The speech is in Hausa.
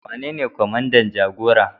Wanene kwamandan jagora?